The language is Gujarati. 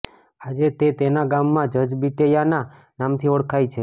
આજે તે તેના ગામમાં જજ બિટિયાના નામથી ઓળખાય છે